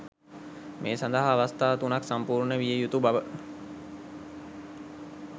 මේ සඳහා අවස්ථා තුනක් සම්පූර්ණ විය යුතු බව